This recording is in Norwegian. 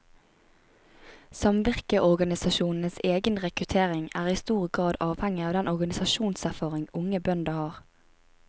Samvirkeorganisasjonenes egen rekruttering er i stor grad avhengig av den organisasjonserfaring unge bønder har.